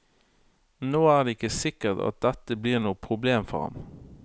Nå er det ikke sikkert at dette blir noe problem for ham.